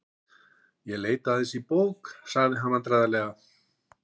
Ég leit aðeins í bók.- sagði hann vandræðalega.